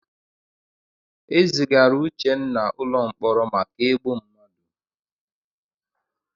E zigara Uchenna ụlọ mkpọrọ maka igbu mmadụ.